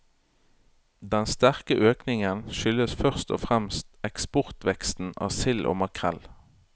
Den sterke økningen skyldes først og fremst eksportveksten av sild og makrell.